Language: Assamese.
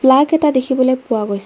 প্লাগ এটা দেখিবলৈ পোৱা গৈছে।